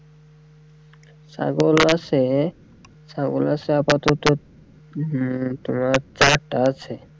ছাগল আছে, ছাগল আছে আপাতত উম তোমার চারটে আছে।